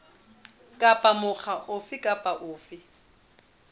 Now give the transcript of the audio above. kapa mokga ofe kapa ofe